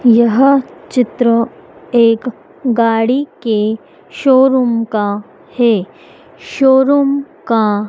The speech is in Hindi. यह चित्र एक गाड़ी के शोरूम का है शोरूम का--